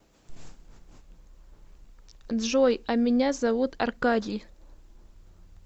джой а меня зовут аркадий